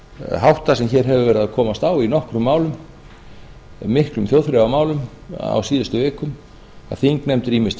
hátta sem hefur verið að komast á í nokkrum málum miklum þjóðþrifamálum á síðustu vikum að þingmenn ýmist